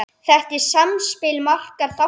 Þetta er samspil margra þátta.